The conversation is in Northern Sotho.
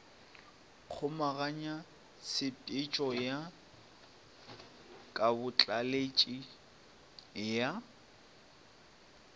kgomaganya tshepetšo ya kabotlaleletši ya